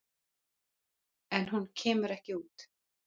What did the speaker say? En hún kemur ekki út.